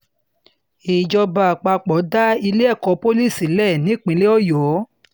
ìjọba àpapọ̀ dá ilé-ẹ̀kọ́ pọ̀lì sílẹ̀ sílẹ̀ nípínlẹ̀ ọyọ́